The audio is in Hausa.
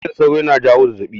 Cizon sauro na jawo zazzaɓi